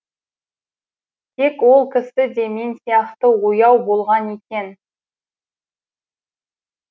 тек ол кісі де мен сияқты ояу болған екен